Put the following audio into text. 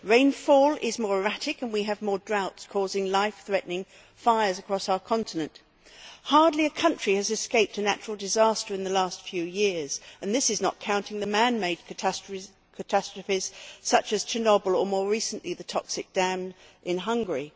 Rainfall is more erratic and we have more droughts causing life threatening fires across our continent. Hardly a country has escaped a natural disaster in the last few years and this is not counting the man made catastrophes such as Chernobyl and, more recently, the toxic dam in Hungary.